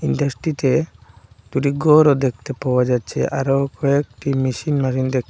দেশটিতে দুটি ঘরও দেখতে পাওয়া যাচ্ছে আরও কয়েকটি মেশিন মেরিন দেখতে--